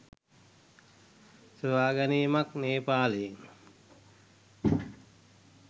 සොයාගැනීමක් නේපාලයෙන්.